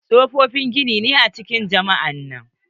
tsofofin gini ne a cikin jami'a nan.